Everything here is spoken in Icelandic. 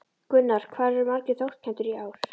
Gunnar, hvað eru margir þátttakendur í ár?